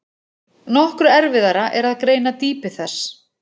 Nokkru erfiðara er að greina dýpi þess.